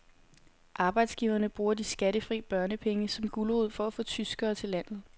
Arbejdsgiverne bruger de skattefri børnepenge som gulerod for at få tyskere til landet.